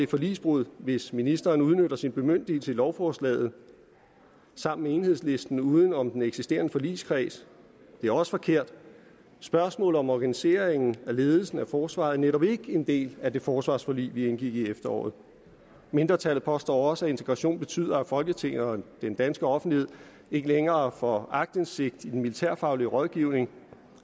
forligsbrud hvis ministeren udnytter sin bemyndigelse i lovforslaget sammen med enhedslisten uden om den eksisterende forligskreds det er også forkert spørgsmålet om organiseringen og ledelsen af forsvaret er netop ikke en del af det forsvarsforlig vi indgik i efteråret mindretallet påstår også at integration betyder at folketinget og den danske offentlighed ikke længere får aktindsigt i den militærfaglige rådgivning